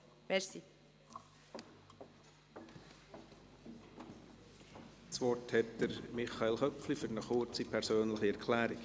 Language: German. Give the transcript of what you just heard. Das Wort hat Michael Köpfli für eine kurze, persönliche Erklärung.